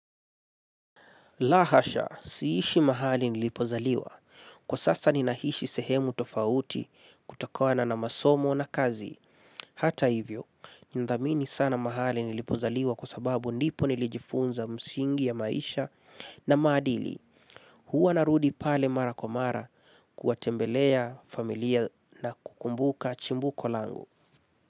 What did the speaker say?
Lahasha, siishi mahali nilipozaliwa. Kwa sasa ninaishi sehemu tofauti kutokana na masomo na kazi. Hata hivyo, nindhamini sana mahali nilipozaliwa kwa sababu ndipo nilijifunza msingi ya maisha na maadili. Huwa narudi pale mara kwa mara kuwatembelea familia na kukumbuka chimbuko langu.